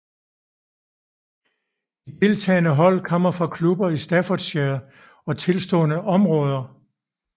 De deltagende hold kommer fra klubber i Staffordshire og tilstødende områder